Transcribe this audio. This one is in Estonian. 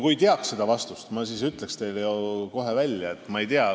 Kui ma teaks vastust, siis ma ütleks selle ju teile kohe välja.